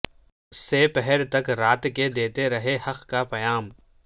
سہ پہر تک رات کے دیتےرہے حق کا پیام